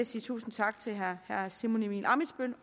sige tusind tak til herre simon emil ammitzbøll